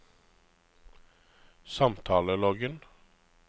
samtaleloggen